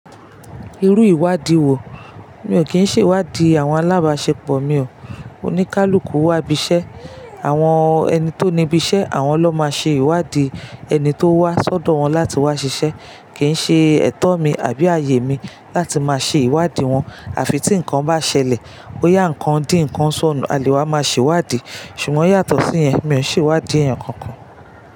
Irú ìwádìí wo, mi ò kín ṣe ìwádìí àwọn alábàáṣepọ̀ mi o, o ní kaluku wá ibi iṣẹ́, àwọn ẹni tó ní ibi iṣẹ́ àwọn ló máa ṣe ìwádìí ẹni tó wá sọ́dọ̀ wọn láti wá ṣiṣẹ́, kì í ṣe ẹ̀tọ́ mi àbí ààyè mi láti má ṣe ìwádìí wọn àfi tí nǹkan bá ṣẹlẹ̀, bóyá nǹkan dín nǹkan ṣọnù a lè máa ṣe ìwádìí, ṣùgbọ́n yàtọ̀ sí yẹn mi ò ṣe ìwádìí ẹ̀yán kankan.